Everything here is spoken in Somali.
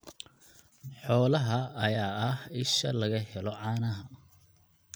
Xoolahan ayaa ah isha laga helo caanaha.